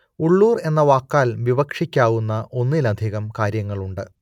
ഉള്ളൂർ എന്ന വാക്കാൽ വിവക്ഷിക്കാവുന്ന ഒന്നിലധികം കാര്യങ്ങളുണ്ട്